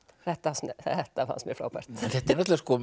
þetta þetta fannst mér frábært þetta er